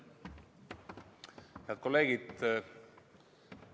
Head kolleegid!